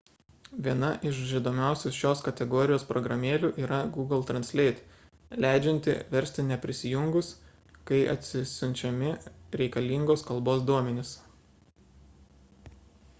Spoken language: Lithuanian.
viena iš žinomiausių šios kategorijos programėlių yra google translate leidžianti versti neprisijungus kai atsisiunčiami reikalingos kalbos duomenys